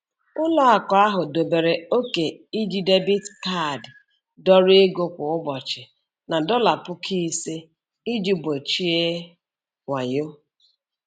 Ụlọakụ ahụ dobere ókè iji debiit kaadi dọrọ ego kwa ụbọchị na dọla puku ise iji gbochie wayo.